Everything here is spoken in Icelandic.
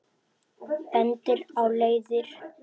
Bendir á leiðir.